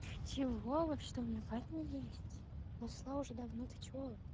чего вообще то у меня парень есть нашла уже давно ты что